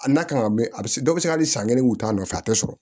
A n'a kan ka mɛ a bɛ se dɔ bɛ se ka hali san kelen u t'a nɔfɛ a tɛ sɔrɔ